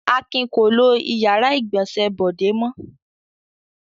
Akin kò lo ìyàrá-ìgbọ̀nsẹ̀ Bọ̀dé mọ́.